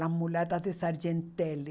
Las mulatas de Sargentelli.